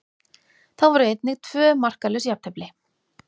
Þá voru einnig tvö markalaus jafntefli.